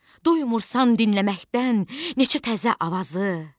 Doymursan dinləməkdən neçə təzə avazı.